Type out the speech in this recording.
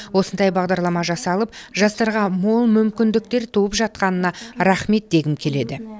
осындай бағдарлама жасалып жастарға мол мүмкіндіктер туып жатқанына рахмет дегім келеді